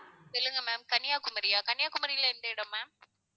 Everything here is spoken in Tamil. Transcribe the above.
சொல்லுங்க ma'am கன்னியாகுமரியா கன்னியாகுமரியில எந்த இடம் ma'am